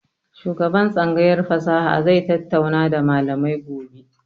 Shugaban tsangayar fasaha zai tattauna da malamai gobe.